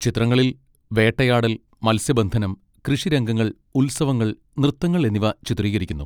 ചിത്രങ്ങളിൽ വേട്ടയാടൽ, മത്സ്യബന്ധനം, കൃഷിരംഗങ്ങൾ, ഉത്സവങ്ങൾ, നൃത്തങ്ങൾ എന്നിവ ചിത്രീകരിക്കുന്നു.